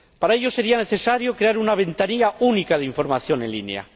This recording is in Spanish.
Para ello, sería necesario crear una ventanilla única de información en línea.